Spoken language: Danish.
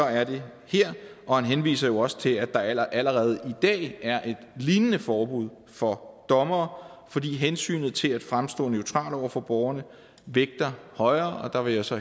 er det her og han henviser jo også til at der allerede i dag er et lignende forbud for dommere fordi hensynet til at fremstå neutral over for borgerne vægter højere der vil jeg så